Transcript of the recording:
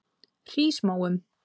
Hrísmóum